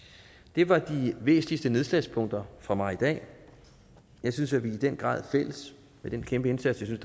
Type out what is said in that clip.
det var de væsentligste nedslagspunkter for mig i dag jeg synes vi i den grad med den kæmpe indsats jeg